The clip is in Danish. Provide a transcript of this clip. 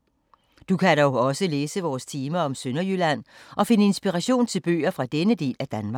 Du kan dog også læse vores tema om Sønderjylland og finde inspiration til bøger fra denne del af Danmark.